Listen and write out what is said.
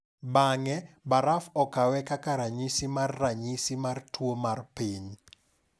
Bang’e, baraf okawe kaka ranyisi mar “ranyisi” mar tuo mar piny.